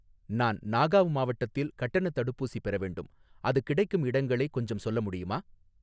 நான் நாகாவ் மாவட்டத்தில் கட்டணத் தடுப்பூசி பெற வேண்டும், அது கிடைக்கும் இடங்களை கொஞ்சம் சொல்ல முடியுமா?